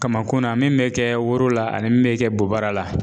Kamakun na min mɛ kɛ woro la ani min mɛ kɛ bobara la.